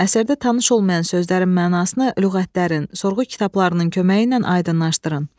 Əsərdə tanış olmayan sözlərin mənasını lüğətlərin, sorğu kitablarının köməyi ilə aydınlaşdırın.